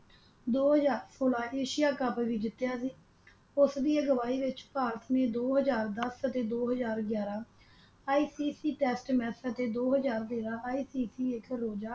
ਦੋ ਹਜ਼ਾਰ ਸੋਲਾਂ ਏਸ਼ੀਆ ਕੱਪ ਵੀ ਜਿਤਿਆ ਉਸਦੀ ਅਗਵਾਈ ਵਿੱਚ ਭਾਰਤ ਨੇ ਦੋ ਹਜ਼ਾਰ ਦਸ ਅਤੇ ਦੋ ਹਜ਼ਾਰ ਗਿਆਰਾਂ ICC ਟੈਸਟ ਮੈਚਾਂ ਅਤੇ ਦੋ ਹਜ਼ਾਰ ਤੇਰਾਂ ICC ਇਕ ਰੋਜ਼ਾ